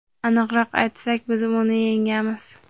aniqroq aytsak biz uni yengamiz.